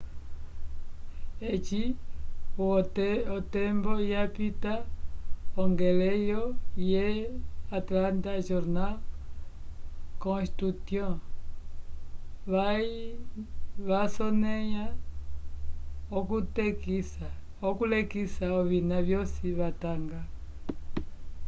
eci o tembo yapita ongeleyo the antlanta jornal constutyon vasoneya okulekisa ovina vyosi vatanga